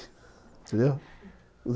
Entendeu?